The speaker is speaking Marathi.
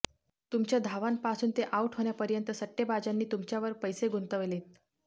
तुमच्या धावांपासून ते आऊट होण्यापर्यंत सट्टेबाजांनी तुमच्यावर पैसे गुंतवलेत